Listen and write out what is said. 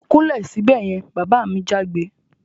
Kúnlẹ̀ sibẹ̀ yen! Bàbá mi jágbe